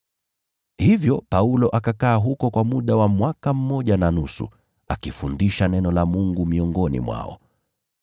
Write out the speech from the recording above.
Hivyo Paulo akakaa huko kwa muda wa mwaka mmoja na nusu, akiwafundisha neno la Mungu.